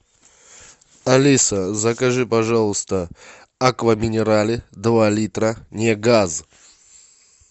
алиса закажи пожалуйста аква минерале два литра не газ